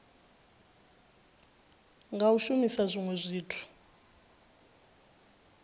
nga u shumisa zwinwe zwithu